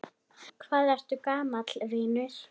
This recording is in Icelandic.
Hvað ertu gamall, vinur?